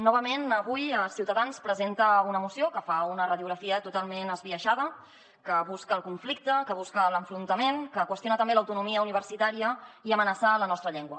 novament avui ciutadans presenta una moció que fa una radiografia totalment esbiaixada que busca el conflicte que busca l’enfrontament que qüestiona també l’autonomia universitària i amenaça la nostra llengua